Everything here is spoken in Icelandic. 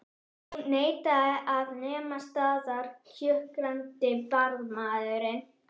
Hún neitaði að nema staðar kjökraði varðmaðurinn.